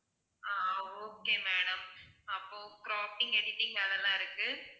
ஆஹ் okay madam அப்போ cropping editing அதெல்லாம் இருக்கு